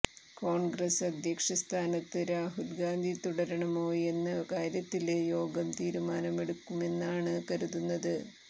കോണ്ഗ്രസ് അധ്യക്ഷ സ്ഥാനത്ത് രാഹുല് ഗാന്ധി തുടരണമോയെന്ന കാര്യത്തിലും യോഗം തീരുമാനമെടുക്കുമെന്നാണ് കരുതുന്നത്